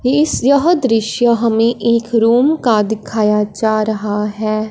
इस यह दृश्य हमें एक रूम का दिखाया जा रहा है।